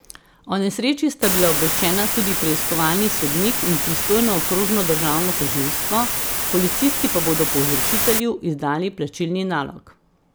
O nesreči sta bila obveščena tudi preiskovalni sodnik in pristojno okrožno državno tožilstvo, policisti pa bodo povzročitelju izdali plačilni nalog.